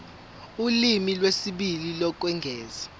ulimi lwesibili lokwengeza